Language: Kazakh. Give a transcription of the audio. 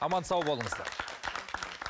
аман сау болыңыздар